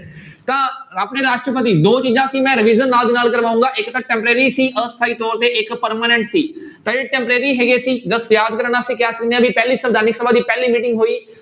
ਤਾਂ ਆਪਣੇ ਰਾਸ਼ਟਰਪਤੀ ਦੋ ਚੀਜ਼ਾਂ ਸੀ, ਮੈਂ revision ਨਾਲ ਦੀ ਨਾਲ ਕਰਵਾਊਂਗਾ ਇੱਕ ਤਾਂ temporary ਸੀ ਅਸਥਾਈ ਤੌਰ ਤੇ ਇੱਕ permanent ਸੀ temporary ਹੈਗੇ ਸੀ just ਯਾਦ ਕਰਨ ਵਾਸਤੇ ਕਹਿ ਸਕਦੇ ਹਾਂ ਵੀ ਪਹਿਲੀ ਸੰਵਿਧਾਨਕ ਸਭਾ ਦੀ ਪਹਿਲੀ meeting ਹੋਈ,